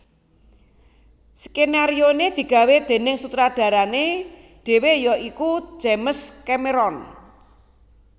Sekenarione digawé denig sutradarane dhewe ya iku James Cameron